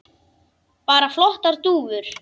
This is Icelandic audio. Bara flottar dúfur.